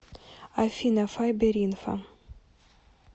афина файберинфо